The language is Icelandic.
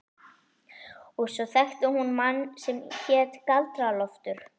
Og svo þekkti hún mann sem hét Galdra-Loftur.